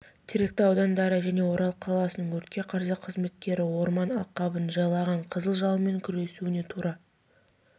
теректі аудандары және орал қаласының өртке қарсы қызметтері орман алқабын жайлаған қызыл жалынмен күресуіне тура